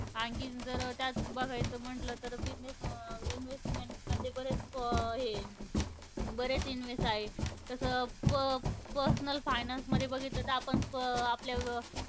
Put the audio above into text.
आणखी जर त्यात बघायच म्हणलं तर business investment मध्ये बरेच प हे ए बरेच invest आहे. तसं प personal finance मध्ये बघितलं तर आपण प आपल्या